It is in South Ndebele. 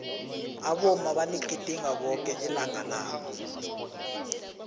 abomma baligidinga bonke ilanga labo